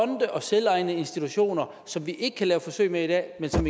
og selvejende institutioner som vi ikke kan lave forsøg med i dag men som